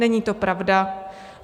Není to pravda.